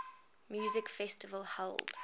music festival held